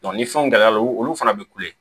ni fɛnw gɛlɛyara olu fana bɛ kule